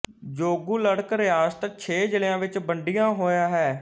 Zonguldak ਰਿਆਸਤ ਛੇ ਜਿਲ੍ਹਿਆਂ ਵਿੱਚ ਵੰਡੀਆਂ ਹੋਇਆ ਹੈ